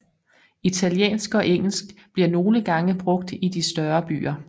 Italiensk og engelsk bliver nogle gange brugt i de større byer